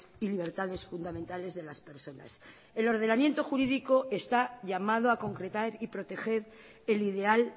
y libertades fundamentales de las personas el ordenamiento jurídico está llamado a concretar y proteger el ideal